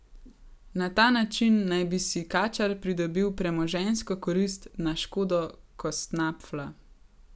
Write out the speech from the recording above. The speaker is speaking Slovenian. Na ta način naj bi si Kačar pridobil premoženjsko korist na škodo Kostnapfla.